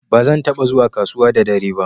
Ba zan taba zuwa kasuwa da dare ba.